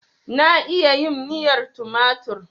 Na iya yin miyar tumatur.